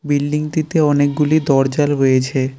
Building -টিতে অনেকগুলি দরজা রয়েছে।